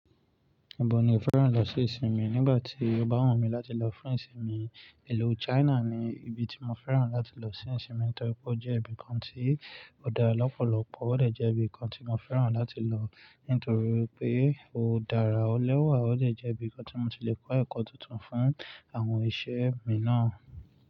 Ibo ni o fẹ́ràn lọ sí ìsinmi? Nígbà tí ó bá wù mí láti lọ fún ìsinmi, ìlú China ni ibi tí mo fẹ́ràn láti lọ sí ìsinmi nítorí pé ó jẹ́ ibi kan tí ó dára lọ́pọ̀lọpọ̀, ó dẹ̀ jẹ́ ibi kan tí mo fẹ́ràn láti lọ nítorí pé ó dára ọ lẹ́wà, ó dẹ̀ jẹ́ ibi kan tí mo ti lè kọ́ ẹ̀kọ́ tuntun fún àwọn iṣẹ́ mi náà.